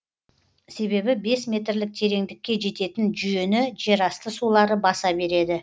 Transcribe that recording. себебі бес метрлік тереңдікке жететін жүйені жерасты сулары баса береді